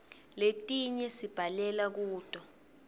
letinye sibhalela kuto